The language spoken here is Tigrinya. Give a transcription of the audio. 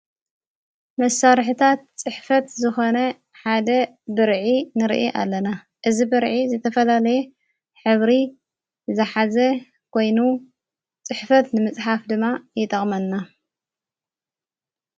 መሣርሕታት ጽሕፈት ዝኾነ ሓደ ብርዒ ንርኢ ኣለና እዝ ብርዒ ዘተፈላለየ ኅብሪ ዝኃዘ ጐይኑ ጽሕፈት ንምጽሓፍ ድማ ይጠቕመልና።